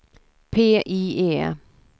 PIE